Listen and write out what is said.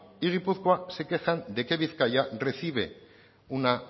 y gipuzkoa se quejan de que bizkaia recibe una